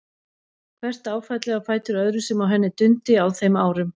Hvert áfallið á fætur öðru sem á henni dundi á þeim árum.